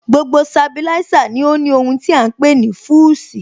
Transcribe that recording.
Gbogbo Sabilísà ní ó ní ohun tí à ń pè ní Fúsìì